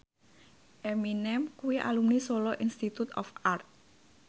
Eminem kuwi alumni Solo Institute of Art